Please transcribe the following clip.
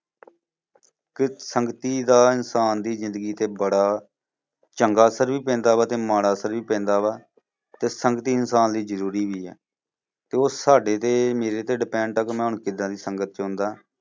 ਕਿ ਸੰਗਤੀ ਦਾ ਇਨਸਾਨ ਦੀ ਜ਼ਿੰਦਗੀ ਤੇ ਬੜਾ ਚੰਗਾ ਅਸਰ ਵੀ ਪੈਂਦਾ ਵਾ ਤੇ ਮਾੜਾ ਅਸਰ ਵੀ ਪੈਂਦਾ ਵਾ ਤੇ ਸੰਗਤੀ ਇਨਸਾਨ ਦੀ ਜ਼ਰੂਰੀ ਵੀ ਹੈ। ਤੇ ਉਹ ਸਾਡੇ ਤੇ ਮੇਰੇ ਤੇ depend ਆ ਕਿ ਮੈਂ ਕਿੱਦਾਂ ਦੀ ਸੰਗਤ ਚ ਹੁੰਦਾ।